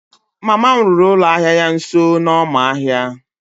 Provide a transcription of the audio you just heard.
mama m rụrụ ụlọ ahịa ya nso n'ọma ahịa